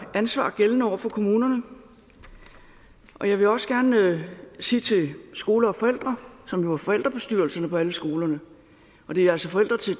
ansvar gældende over for kommunerne og jeg vil også gerne sige til skole og forældre som jo er forældrebestyrelserne på alle skolerne og det er altså forældre til